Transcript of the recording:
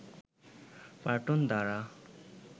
পার্টন দ্বারা